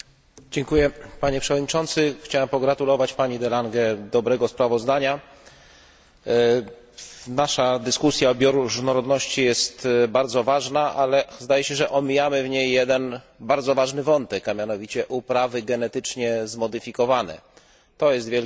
Chciałbym pogratulować pani de Lange dobrego sprawozdania. Nasza dyskusja o bioróżnorodności jest bardzo ważna, ale zdaje się, że omijamy w niej jeden bardzo ważny wątek, a mianowicie uprawy genetycznie zmodyfikowane. To jest wielkie zagrożenie dla bioróżnorodności.